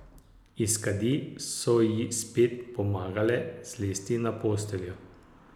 Iz kadi so ji spet pomagale zlesti na posteljo.